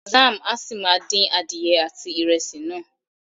Zam a si máa din adìyẹ àti ìrẹsì náà.